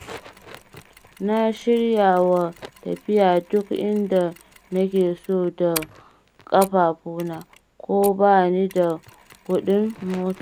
Na shiryawa tafiya duk inda nake so da ƙafafuna, ko bani da kuɗin mota.